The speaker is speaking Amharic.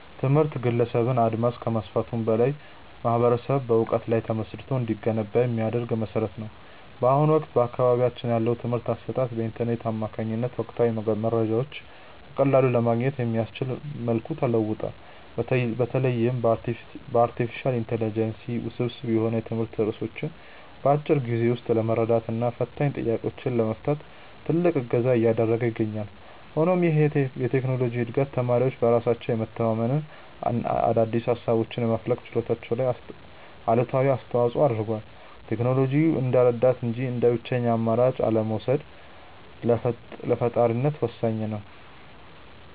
ትምህርት የግለሰብን አድማስ ከማስፋቱም በላይ ማኅበረሰብ በዕውቀት ላይ ተመስርቶ እንዲገነባ የሚያደርግ መሠረት ነው። በአሁኑ ወቅት በአካባቢያችን ያለው የትምህርት አሰጣጥ በኢንተርኔት አማካኝነት ወቅታዊ መረጃዎችን በቀላሉ ለማግኘት በሚያስችል መልኩ ተለውጧል። በተለይም አርቲፊሻል ኢንተለጀንስ ውስብስብ የሆኑ የትምህርት ርዕሶችን በአጭር ጊዜ ውስጥ ለመረዳትና ፈታኝ ጥያቄዎችን ለመፍታት ትልቅ እገዛ እያደረገ ይገኛል። ሆኖም ይህ የቴክኖሎጂ ዕድገት ተማሪዎች በራሳቸው የመተንተንና አዳዲስ ሃሳቦችን የማፍለቅ ችሎታቸው ላይ አሉታዊ ተፅእኖ አድርሷል። ቴክኖሎጂውን እንደ ረዳት እንጂ እንደ ብቸኛ አማራጭ አለመውሰድ ለፈጣሪነት ወሳኝ ነው።